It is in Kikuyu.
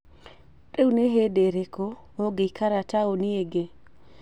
Rĩu nĩ hĩndĩ ĩrĩkũ ũngĩikara taũni ĩngĩ?